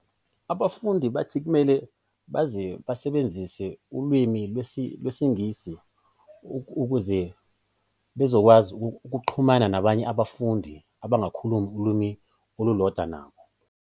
Abafundi bathi kumele baze basebenzise ulwimi lwesiNgisi ukuze bezokwazi ukuxhumana nabanye abafundi abangakhulumi ulimi olulodwa nabo.